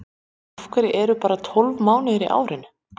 Af hverju eru bara tólf mánuðir í árinu?